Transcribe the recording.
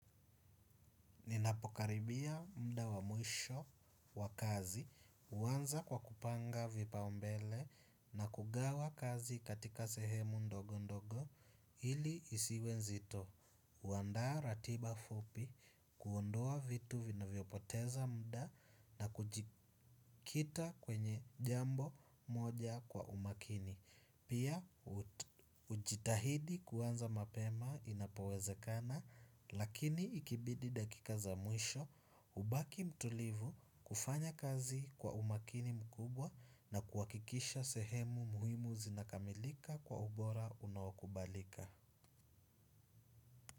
Ninapokaribia muda wa mwisho wa kazi, huanza kwa kupanga vipaumbele na kugawa kazi katika sehemu ndogo ndogo ili isiwe nzito. Huandaa ratiba fupi, kuondoa vitu vinavyopoteza muda na kujikita kwenye jambo moja kwa umakini. Pia hujitahidi kuanza mapema inapowezekana lakini ikibidi dakika za mwisho hubaki mtulivu kufanya kazi kwa umakini mkubwa na kuhakikisha sehemu muhimu zinakamilika kwa ubora unaokubalika.